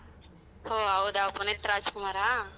ಹೊ ಹೌದ ಪುನೀತ್ ರಾಜಕುಮಾರಾ?